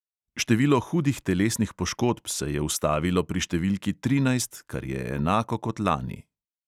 Število hudih telesnih poškodb se je ustavilo pri številki trinajst, kar je enako kot lani.